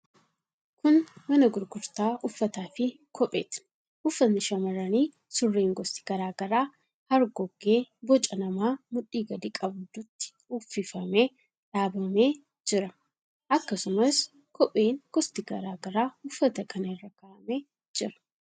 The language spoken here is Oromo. Kun mana gurgurtaa uffataa fi kopheeti. Uffatni shamarranii, surreen gosti garaa garaa hargoggee boca namaa mudhii gadi qabdutti uwwifamee dhaabamee jira. Akkasumas, kopheen gosti garaa garaa uffata kana irra kaa'amee jira.